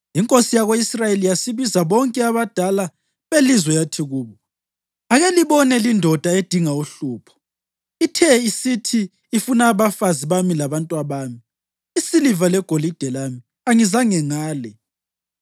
Inkosi yako-Israyeli yasibiza bonke abadala belizwe yathi kubo, “Ake libone lindoda edinga uhlupho! Ithe isithi ifuna abafazi bami labantwabami, isiliva legolide lami, angizange ngale.”